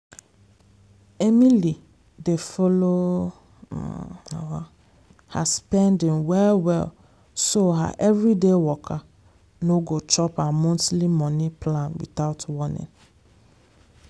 emily dey follow her spending well well so her everyday waka no go chop her monthly money plan without warning.